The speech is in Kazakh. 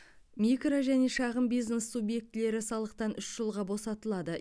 микро және шағын бизнес субъектілері салықтан үш жылға босатылады